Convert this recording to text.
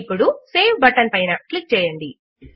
ఇప్పుడు save button పైన click చేయండి